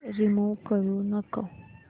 remove करू नको